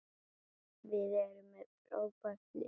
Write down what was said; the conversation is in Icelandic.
Við erum með frábært lið.